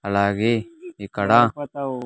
అలాగే ఇక్కడ.